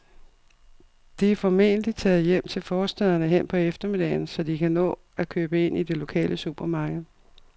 De er formentlig taget hjem til forstæderne hen på eftermiddagen, så de kan nå at købe ind i det lokale supermarked.